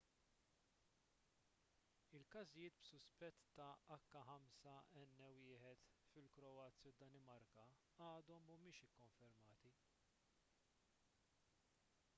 każijiet b'suspett ta’ h5n1 fil-kroazja u d-danimarka għadhom mhumiex ikkonfermati